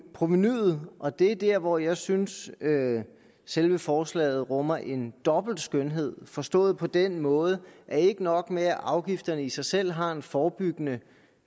provenuet og det er der hvor jeg synes at selve forslaget rummer en dobbelt skønhed forstået på den måde at ikke nok med at afgifterne i sig selv har en forebyggende